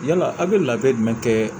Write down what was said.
Yala aw bɛ labɛn jumɛn kɛ